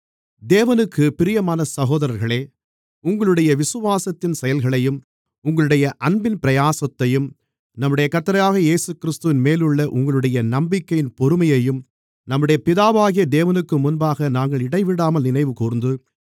தேவனுக்குப் பிரியமான சகோதரர்களே உங்களுடைய விசுவாசத்தின் செயல்களையும் உங்களுடைய அன்பின் பிரயாசத்தையும் நம்முடைய கர்த்தராகிய இயேசுகிறிஸ்துவின்மேலுள்ள உங்களுடைய நம்பிக்கையின் பொறுமையையும் நம்முடைய பிதாவாகிய தேவனுக்குமுன்பாக நாங்கள் இடைவிடாமல் நினைவுகூர்ந்து